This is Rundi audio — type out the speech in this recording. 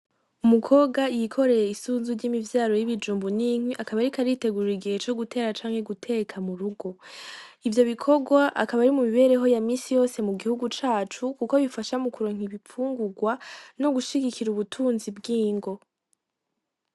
Umukobwa yikoreye isunzu ry'imivyaro y'ibijumbu n'inkwi akaba ariko aritegurira igihe co gutera canke guteka murugo, ivyo bikorwa akaba arivyo mu mibereho ya minsi yose mu gihugu cacu kuko bifasha mukuronka ibifungurwa no gushigikira ubutunzi bwingo.